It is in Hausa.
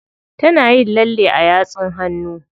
Tana yin lalle a yatsun hannu.